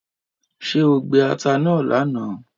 ṣe o gbé atá náa lànà?